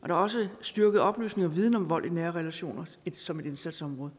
er også styrket oplysning og viden om vold i nære relationer som et indsatsområde